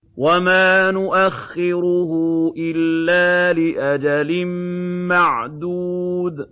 وَمَا نُؤَخِّرُهُ إِلَّا لِأَجَلٍ مَّعْدُودٍ